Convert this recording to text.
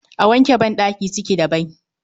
A wanke badaki ciki da bai